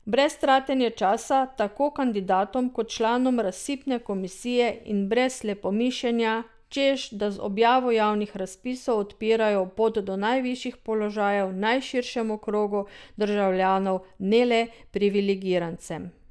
Brez tratenja časa tako kandidatom kot članom razpisne komisije in brez slepomišenja, češ da z objavo javnih razpisov odpirajo pot do najvišjih položajev najširšemu krogu državljanov, ne le privilegirancem.